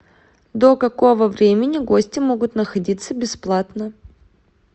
до какого времени гости могут находиться бесплатно